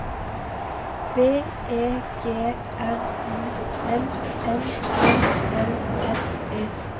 B E G R U N N E L S E